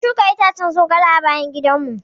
Mun shuka itacen zogale a bayan gidan mu.